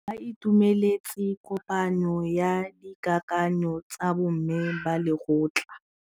Ba itumeletse kôpanyo ya dikakanyô tsa bo mme ba lekgotla.